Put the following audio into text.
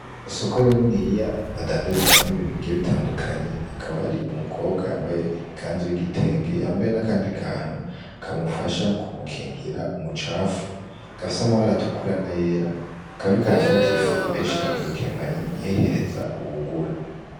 Isoko niniya badandarizamwo ibintu bigiye bitandukanye, hakaba hari umukobwa yambaye ikanzu y'igitenge, yambaye n'akandi kantu kamufasha kumukingira umucafu gafise amabara atukura n'ayera, akaba ariko arafata ifu ayishira mu gakemanyi ayihereza uwugura.